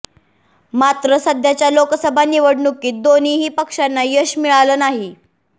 मात्र सध्याच्या लोकसभा निवडणुकीत दोन्हीही पक्षांना यश मिळालं नाही